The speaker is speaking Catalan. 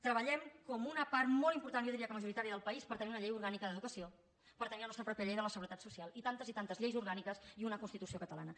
treballem com una part molt important jo diria que majoritària del país per tenir una llei orgànica d’educació per tenir la nostra pròpia llei de la seguretat social i tantes i tantes lleis orgàniques i una constitució catalana